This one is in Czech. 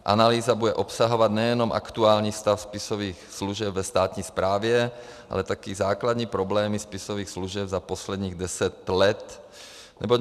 Analýza bude obsahovat nejenom aktuální stav spisových služeb ve státní správě, ale také základní problémy spisových služeb za posledních deset let, neboť